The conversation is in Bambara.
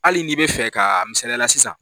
ali n'i bɛ fɛ ka misaliya la sisan.